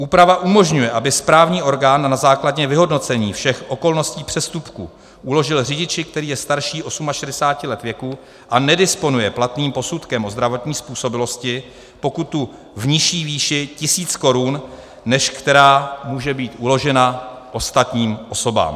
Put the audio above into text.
Úprava umožňuje, aby správní orgán na základě vyhodnocení všech okolností přestupku uložil řidiči, který je starší 68 let věku a nedisponuje platným posudkem o zdravotní způsobilosti, pokutu v nižší výši tisíc korun, než která může být uložena ostatním osobám.